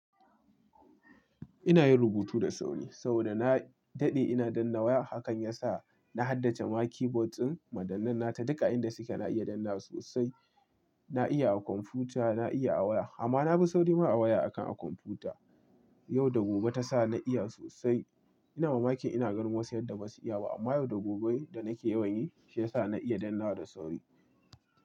Ina yin rubutu da sauri, saboda na daɗe ina danna waya, hakan yasa na haddace ma keyboard ɗin madannan nata duka inda suke. Na iya dannaw sosai, na iya a kwamfuta, na iya a waya amma na fi sauri ma a waya akan a kwamfuta. Yau da gobe ta sa na iya sosai. Ina mamaki ina ganin wasu yadda basu iya ba, amma yau da gobe da nake yawan yi, shi ya sa na iya dannawa da sauri.